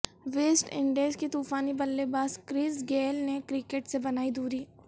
waste Indies کے طوفانی بلے باز کرس گیل نے کرکٹ سے بنائی دوری